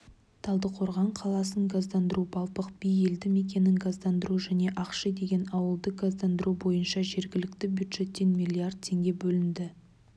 талдықорған қаласын газдандыру балпық би елді мекенін газдандыру және ақши деген ауылды газдандыру бойынша жергілікті бюджеттен миллиард теңге бөлінді